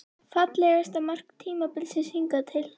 Fallegasta mark tímabilsins hingað til?